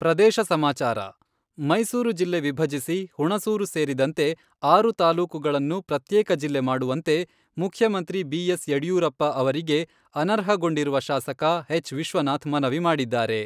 ಪ್ರದೇಶ ಸಮಾಚಾರ ಮೈಸೂರು ಜಿಲ್ಲೆ ವಿಭಜಿಸಿ, ಹುಣಸೂರು ಸೇರಿದಂತೆ ಆರು ತಾಲೂಕುಗಳನ್ನು ಪ್ರತ್ಯೇಕ ಜಿಲ್ಲೆ ಮಾಡುವಂತೆ ಮುಖ್ಯಮಂತ್ರಿ ಬಿ.ಎಸ್.ಯಡಿಯೂರಪ್ಪ ಅವರಿಗೆ ಅನರ್ಹಗೊಂಡಿರುವ ಶಾಸಕ ಎಚ್.ವಿಶ್ವನಾಥ್ ಮನವಿ ಮಾಡಿದ್ದಾರೆ.